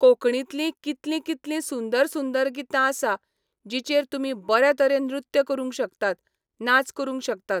कोंकणींतलीं कितलीं कितलीं सुंदर सुंदर गितां आसा जिचेर तुमी बऱ्या तरेन नृत्य करूंक शकतात, नाच करूंक शकतात.